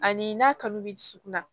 Ani n'a kanu bɛ dusukun na